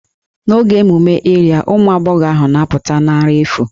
N'oge emume Iria, ụmụ agbọghọ ahụ na-apụta na àrà efu